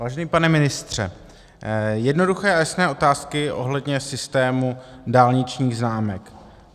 Vážený pane ministře, jednoduché a jasné otázky ohledně systému dálničních známek.